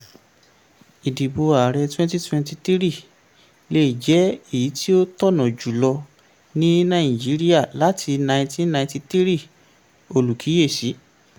ìdìbò ààrẹ 2023 lè jẹ́ èyí tí ó tọ̀nà jùlọ ní nàìjíríà láti 1993 - olùkíyèsí.